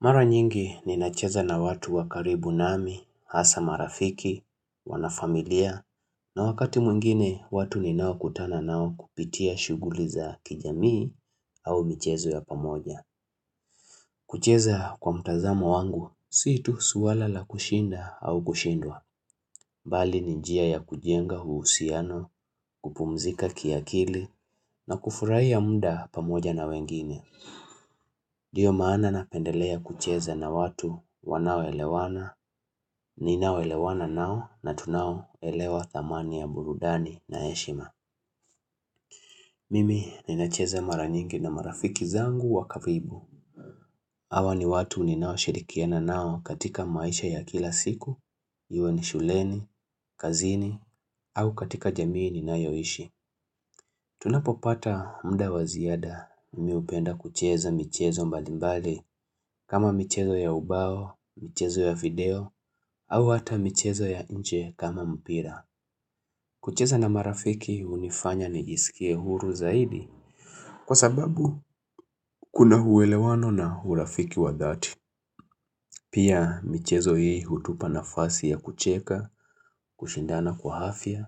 Mara nyingi ninacheza na watu wa karibu nami, hasa marafiki, wanafamilia, na wakati mwingine watu ninaokutana nao kupitia shughuli za kijamii au michezo ya pamoja. Kucheza kwa mtazamo wangu, si tu swala la kushinda au kushindwa. Bali ni njia ya kujenga uhusiano, kupumzika kiakili na kufurahai muda pamoja na wengine. Ndio maana napendelea kucheza na watu wanaoelewana, ninaoelewana nao na tunaoelewa thamani ya burudani na heshima Mimi ninacheza mara nyingi na marafiki zangu wa karibu Hawa ni watu ninaoshirikiana nao katika maisha ya kila siku, iwe ni shuleni, kazini, au katika jamii ninayoishi Tunapopata muda wa ziada mimi hupenda kucheza michezo mbalimbali kama michezo ya ubao, michezo ya video au hata michezo ya nje kama mpira. Kucheza na marafiki hunifanya nijisikie huru zaidi kwa sababu kuna uelewano na urafiki wa dhati. Pia michezo hii hutupa nafasi ya kucheka, kushindana kwa afya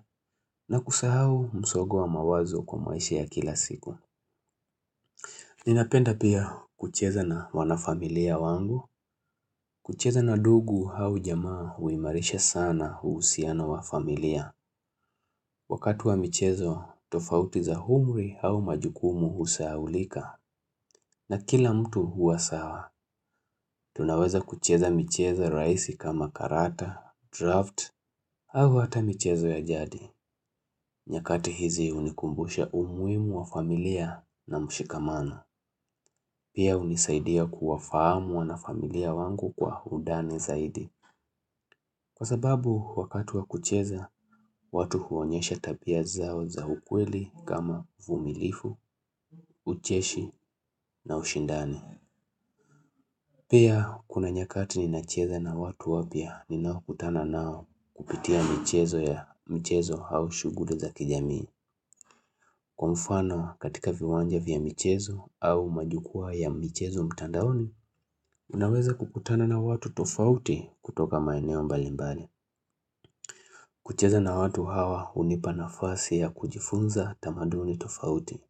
na kusahau msogo wa mawazo kwa maisha ya kila siku. Ninapenda pia kucheza na wanafamilia wangu. Kucheza na ndugu au jamaa huimarisha sana uhusiano wa familia. Wakati wa michezo, tofauti za umri au majukumu husahaulika. Na kila mtu huwa sawa, tunaweza kucheza michezo rahisi kama karata, draft, au hata michezo ya jadi. Nyakati hizi hunikumbusha umuhimu wa familia na mshikamano. Pia hunisaidia kuwafahamu wanafamilia wangu kwa undani zaidi. Kwa sababu wakati wa kucheza, watu huonyesha tabia zao za ukweli kama uvumilivu, ucheshi na ushindani. Pia kuna nyakati ninacheza na watu wapya ninaokutana nao kupitia michezo ya michezo au shughuli za kijamii. Kwa mfano katika viwanja vya michezo au majukwaa ya michezo mtandaoni, unaweza kukutana na watu tofauti kutoka maeneo mbalimbani. Kucheza na watu hawa hunipa nafasi ya kujifunza tamaduni tofauti,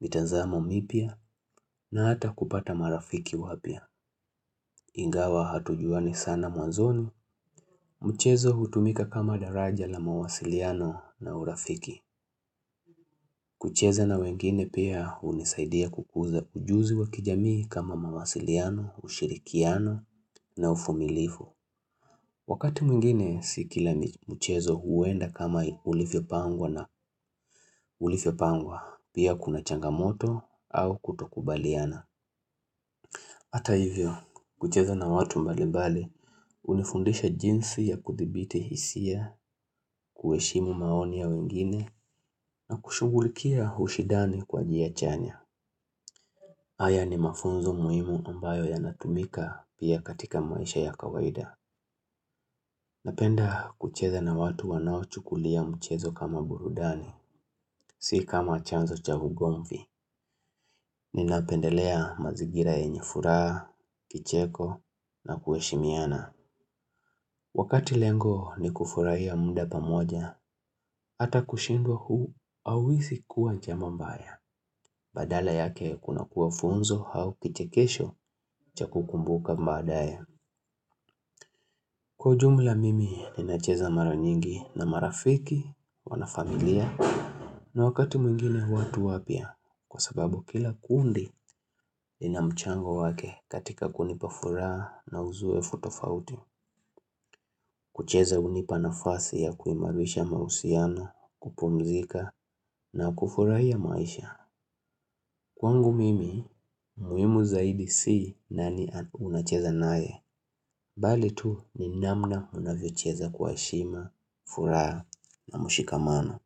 mitazamo mipya na hata kupata marafiki wapya. Ingawa hatujuani sana mwazoni, mchezo hutumika kama daraja la mawasiliano na urafiki. Kucheza na wengine pia hunisaidia kukuza ujuzi wa kijamii kama mawasiliano, ushirikiano na uvumilivu. Wakati mwingine, si kila mchezo huenda kama ulivyopangwa na ulivyopangwa, pia kuna changamoto au kutokubaliana. Hata hivyo, kucheza na watu mbali mbali, hunifundisha jinsi ya kuthibiti hisia, kuheshimu maoni ya wengine, na kushughulikia ushidani kwa njia chanya. Haya ni mafunzo muhimu ambayo yanatumika pia katika maisha ya kawaida. Napenda kucheza na watu wanaochukulia mchezo kama burudani, si kama chanzo cha ugomvi. Ninapendelea mazingira yenye furaha, kicheko, na kuheshimiana. Wakati lengo ni kufurahia muda pamoja, hata kushindwa hauwezi kuwa jambo mbaya. Badala yake kunakuwa funzo au kichekesho cha kukumbuka baadaye. Kwa ujumla mimi, ninacheza mara nyingi na marafiki wanafamilia. Na wakati mwingine watu wapya, kwa sababu kila kundi, lina mchango wake katika kunipa furaha na uzoefu tofauti. Kucheza hunipa nafasi ya kuimarisha mauhusiano, kupumzika na kufurahia maisha Kwangu mimi, muhimu zaidi si nani unacheza naye Bali tu ni namna unavyocheza kwa heshima, furaha na mshikamano.